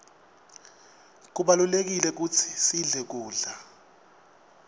kubalulekile kutsi sidle kudla